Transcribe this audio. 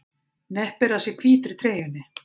Hneppir að sér hvítri treyjunni.